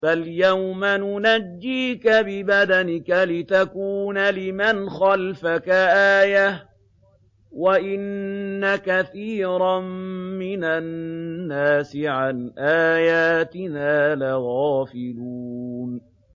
فَالْيَوْمَ نُنَجِّيكَ بِبَدَنِكَ لِتَكُونَ لِمَنْ خَلْفَكَ آيَةً ۚ وَإِنَّ كَثِيرًا مِّنَ النَّاسِ عَنْ آيَاتِنَا لَغَافِلُونَ